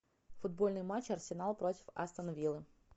футбольный матч арсенал против астон виллы